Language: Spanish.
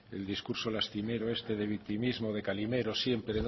el discurso lastimero este de victimismo de calimero sí